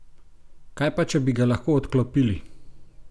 Kaj pa, če bi ga lahko odklopili?